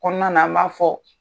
Kɔɔna na an b'a fɔ